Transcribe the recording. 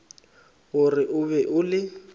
gore o be o le